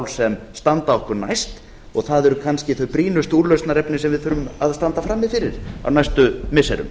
sem standa okkur næst og það eru kannski þau brýnustu úrlausnarefni sem við þurfum að standa frammi fyrir á næstu missirum